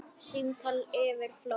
Símtal yfir flóann